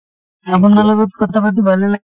আপোনাৰ লগত কথা পাতি ভালে লাগিল।